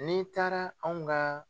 N'i taara anw ka